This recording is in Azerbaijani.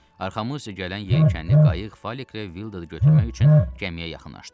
Arxamızca gələn yelkənli qayıq Fəleklə Vildadı götürmək üçün gəmiyə yaxınlaşdı.